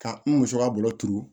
Ka n muso ka bolo turu